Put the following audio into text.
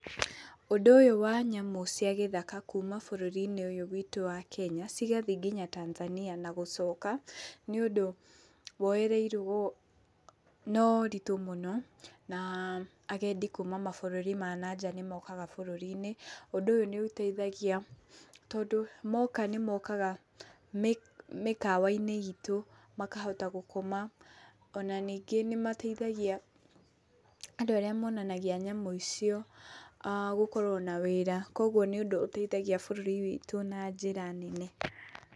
Ũndũ ũyũ wa nyamũ cia gĩthaka kuma bũrũri-inĩ ũyũ witũ wa Kenya cigathĩĩ nginya Tanzania na gũcoka nĩ ũndũ woyereirwo na ũritũ mũno na agendi kuma mabũrũri ma nanja nĩ mokaga bũrũri-inĩ. Ũndũ ũyũ nĩ ũteithagia tondũ moka nĩ mokaga mĩkawainĩ itũ makahota gũkoma ona ningĩ nĩ mateithagia andũ arĩa monanagia nyamũ icio gũkorwo na wĩra. Koguo nĩ ũndũ ũteithagia bũrũri witũ na njĩra nene.